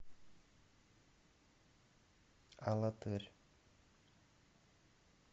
алатырь